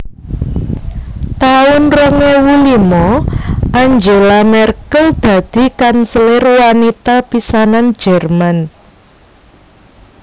taun rong ewu limo Angela Merkel dadi kanselir wanita pisanan Jerman